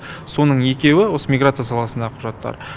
соның екеуі осы миграция саласындағы құжаттар